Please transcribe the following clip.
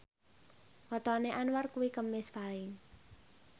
wetone Anwar kuwi Kemis Paing